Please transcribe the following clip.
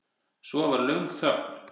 Svo var löng þögn.